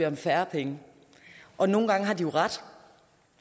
om færre penge og nogle gange har de jo ret